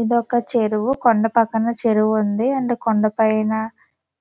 ఇది ఒక చెరువు . కొండ పక్కన చెరువు ఉంది. అండ్ కొండపైన పైన